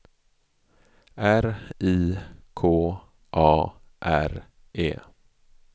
R I K A R E